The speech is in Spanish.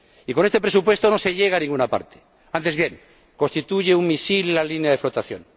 Y con este presupuesto no se llega a ninguna parte, antes bien, constituye un misil en la línea de flotación.